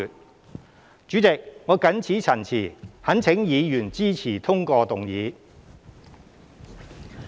代理主席，我謹此陳辭，懇請議員支持通過議案。